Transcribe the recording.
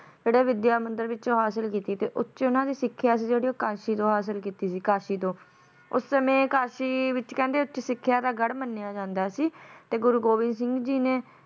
ਜਿਹੜੇ ਵਿਧਿਆ ਮੰਦਿਰ ਵਿੱਚੋ ਹਾਸਲ ਕੀਤੀ ਤੇ ਉੱਚ ਉਹਨਾਂ ਦੀ ਸਿੱਖਿਆ ਸੀ ਜਿਹੜੀ ਉਹ ਕਾਸ਼ੀ ਤੋਂ ਹਾਸਲ ਕੀਤੀ ਸੀ ਕਾਸ਼ੀ ਤੋਂ ਉਸ ਸਮੇਂ ਕਾਸ਼ੀ ਦੇ ਵਿੱਚ ਕਹਿੰਦੇ ਉੱਚ ਸਿੱਖਿਆ ਦਾ ਗੜ ਮੰਨਿਆ ਜਾਂਦਾ ਸੀ ਤੇ ਗੁਰੂ ਗੋਬਿੰਦ ਸਿੰਘ ਜੀ ਨੇ